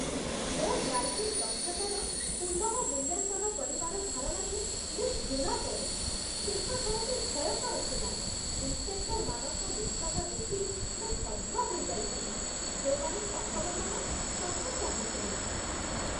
ମୋ ଡ୍ରାଇଭିଂ ଦକ୍ଷତାର ପୁନଃମୂଲ୍ୟାଙ୍କନ କରିବାର ଧାରଣାକୁ ମୁଁ ଘୃଣା କରେ ଶେଷ ଥରଟି ଭୟଙ୍କର ଥିଲା। ଇନ୍ସ୍‌ପେକ୍ଟର୍‌ମାନଙ୍କ ରୁକ୍ଷତା ଦେଖି ମୁଁ ସ୍ତବ୍ଧ ହୋଇଯାଇଥିଲି, ଯେଉଁମାନେ ସମ୍ଭବତଃ ଟଙ୍କା ଚାହୁଁଥିଲେ ।